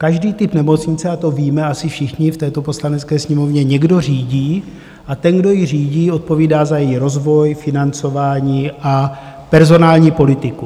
Každý typ nemocnice, a to víme asi všichni v této Poslanecké sněmovně, někdo řídí, a ten, kdo ji řídí, odpovídá za její rozvoj, financování a personální politiku.